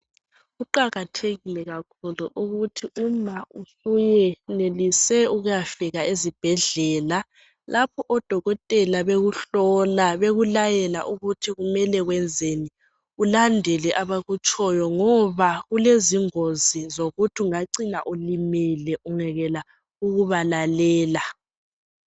Kuqakathekile kakhulu ukuthi uma usuwenelise ukuyafika ezibhedlela Lapho odokotela bekuhlola bekulayela ukuthi kumele wenzeni ulandele abakutshoyo ngoba kulezingozi zokuthi ungacina ulimele ungekela ukubalalela.